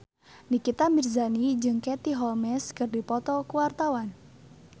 Nikita Mirzani jeung Katie Holmes keur dipoto ku wartawan